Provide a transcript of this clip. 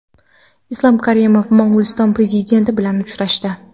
Islom Karimov Mo‘g‘uliston Prezidenti bilan uchrashdi.